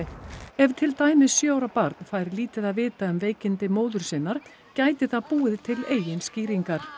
ef til dæmis sjö ára barn fær lítið að vita um veikindi móður sinnar gæti það búið til eigin skýringar